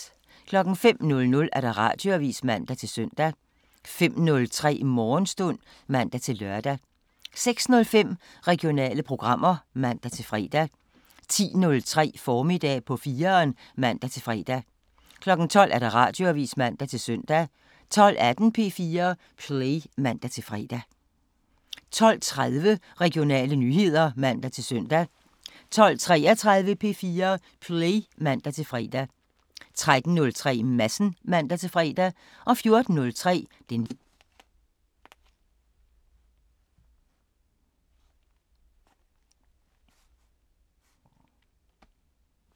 05:00: Radioavisen (man-søn) 05:03: Morgenstund (man-lør) 06:05: Regionale programmer (man-fre) 10:03: Formiddag på 4'eren (man-fre) 12:00: Radioavisen (man-søn) 12:18: P4 Play (man-fre) 12:30: Regionale nyheder (man-søn) 12:33: P4 Play (man-fre) 13:03: Madsen (man-fre) 14:03: Den lille forskel (man-tor)